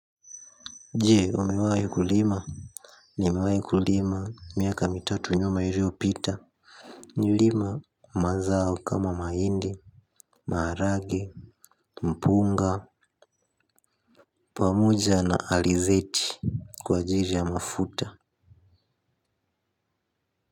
Je umewahi kulima nimewahi kulima miaka mitatu nyuma ili pita nililima mazao kama mahindi maharage mpunga pamoja na alizeti kwa ajili ya mafuta.